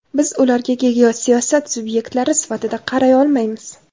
Biz ularga geosiyosat subyektlari sifatida qaray olmaymiz.